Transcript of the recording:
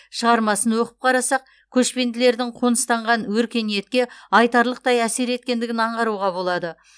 шығармасын оқып қарасақ көшпенділердің қоныстанған өркениетке айтарлықтай әсер еткендігін аңғаруға болады